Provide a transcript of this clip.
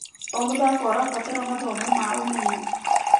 O mũthako ũrabatara mathomo ma ũmenyo.